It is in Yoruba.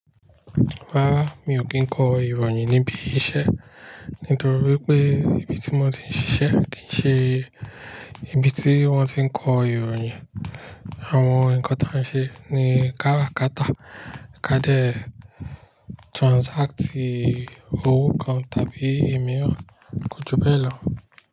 Rárá, mi ò kí ń kọ ìròyìn níbi iṣẹ́. Nítorí pé ibi tí mo ti ń ṣiṣẹ́ kì í ṣe ibi tí wọ́n ti ń kọ ìròyìn. Àwọn ǹkan ta ń ṣe ní káràkátà, ká dé transacti owó kan tàbí emiran kò ju bẹ́ẹ̀ lọ.